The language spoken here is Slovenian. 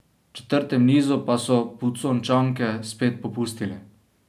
V četrtem nizu pa so Pucončanke spet popustile.